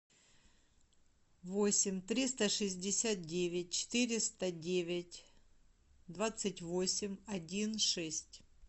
восемь триста шестьдесят девять четыреста девять двадцать восемь один шесть